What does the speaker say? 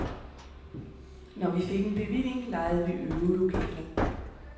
Når vi fik en bevilling, lejede vi øvelokaler.